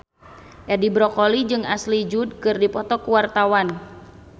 Edi Brokoli jeung Ashley Judd keur dipoto ku wartawan